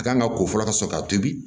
A kan ka ko fɔlɔ ka sɔrɔ ka tobi